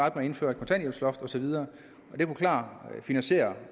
at indføre kontanthjælpsloftet og så videre det kunne klart finansiere